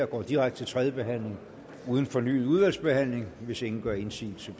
går direkte til tredje behandling uden fornyet udvalgsbehandling hvis ingen gør indsigelse